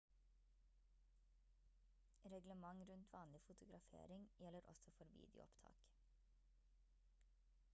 reglement rundt vanlig fotografering gjelder også for videoopptak